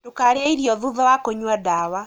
Ndūkarīe irio thutha wa kūnyua ndawa.